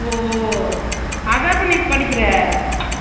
அது சம்பந்தாவவும் நா fashion technology